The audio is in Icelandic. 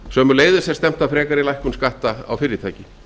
sömuleiðis er stefnt að frekari lækkun skatta á fyrirtæki